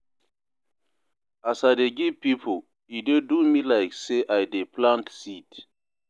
As I dey give pipo, e dey do me like sey I dey plant seed.